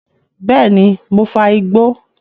Bẹ́ẹ̀ni, mò ń fa igbó